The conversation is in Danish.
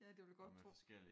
Ja det vil jeg godt tro